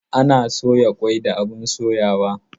Ana soya kwai da abun soyawa